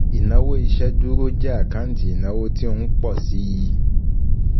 Ìnáwó ìṣèdúró jẹ́ àkáǹtì ìnáwó tí ó ń pọ̀ síi